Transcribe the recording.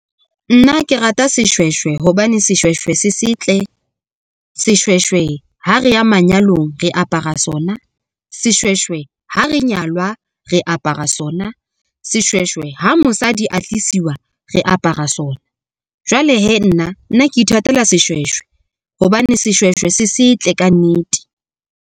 Nna ke rata seshweshwe hobane seshweshwe se setle, seshweshwe ha re ya manyalong re apara sona. Seshweshwe ha re nyalwa re apara sona. Seshweshwe ha mosadi a tlisiwang re apara sona, jwale hee nna nna ke ithatela seshweshwe hobane seshweshwe se setle kannete.